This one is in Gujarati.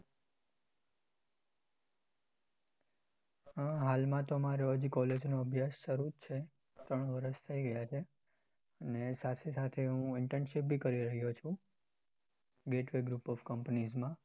હાલ માં તો મારો college નો અભ્યાસ શરૂ છે ત્રણ વર્ષ થયી ગયા છે ને સાથે સાથે હું internship બી કરી રહ્યો છુ gateway group of companies માં.